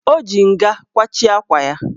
O ji nga kwachie akwa ya.